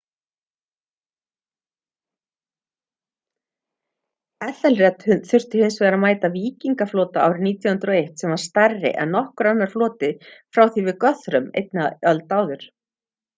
ethelred þurfti hins vegar að mæta víkingaflota árið 991 sem var stærri en nokkur annar floti frá því við guthrum einni öld áður